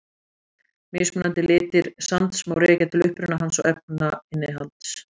Mismunandi litir sands má rekja til uppruna hans og efnainnihalds.